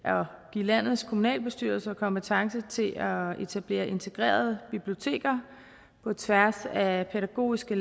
landets kommunalbestyrelser kompetence til at etablere integrerede biblioteker på tværs af pædagogiske